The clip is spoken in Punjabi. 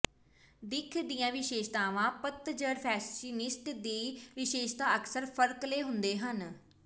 ਦਿੱਖ ਦੀਆਂ ਵਿਸ਼ੇਸ਼ਤਾਵਾਂ ਪਤਝੜ ਫੈਸ਼ਨਿਸਟੈਸ ਦੀ ਵਿਸ਼ੇਸ਼ਤਾ ਅਕਸਰ ਫਰਕਲੇ ਹੁੰਦੇ ਹਨ